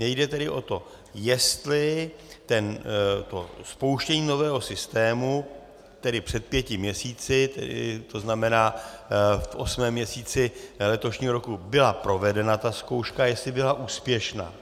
Mně jde tedy o to, jestli to spouštění nového systému, tedy před pěti měsíci, to znamená v osmém měsíci letošního roku, byla provedena ta zkouška, jestli byla úspěšná.